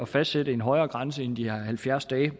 fastsætte en højere grænse end de her halvfjerds dage